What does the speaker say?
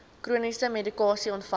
chroniese medikasie ontvang